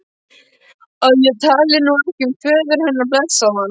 að ég tali nú ekki um föður hennar, blessaðan.